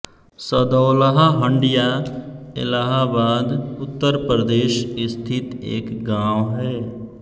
सदौलहा हंडिया इलाहाबाद उत्तर प्रदेश स्थित एक गाँव है